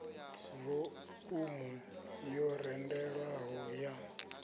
vo umu yo randelwaho ya